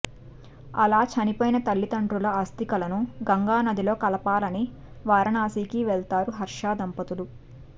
అలా చనిపోయిన తల్లిదండ్రుల ఆస్తికలను గంగానదిలో కలపాలని వారణాశికి వెళ్తారు హర్ష దంపతులు